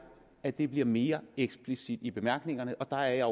at det bliver mere eksplicit i bemærkningerne og der er jeg